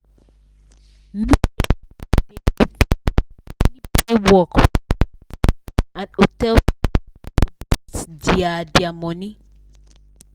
many people dey depend on daily pay work for logistic and hostel side to boost their their money.